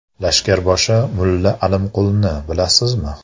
Lashkarboshi Mulla Alimqulni bilamizmi?